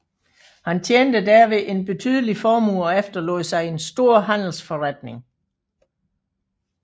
Han tjente derved en betydelig formue og efterlod sig en stor handelsforretning